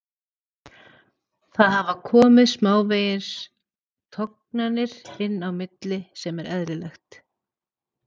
Það hafa komið smávegis tognanir inn á milli sem er eðlilegt.